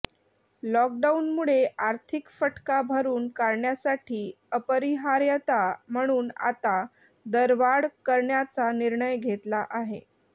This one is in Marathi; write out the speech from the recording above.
लॉकडाऊनमुळे आर्थिक फटका भरून काढण्यासाठी अपरिहार्यता म्हणून आता दरवाढ करण्याचा निर्णय घेतला आहे